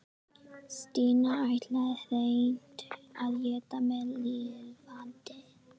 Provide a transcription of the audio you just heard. Stína ætlaði hreint að éta mig lifandi.